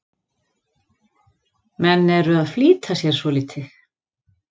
Menn eru að flýta sér svolítið.